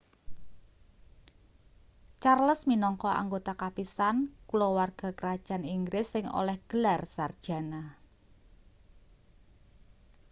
charles minangka anggota kapisan kulawarga krajan inggris sing oleh gelar sarjana